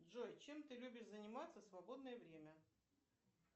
джой чем ты любишь заниматься в свободное время